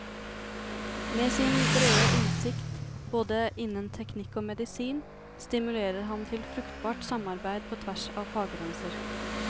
Med sin brede innsikt, både innen teknikk og medisin, stimulerer han til fruktbart samarbeid på tvers av faggrenser.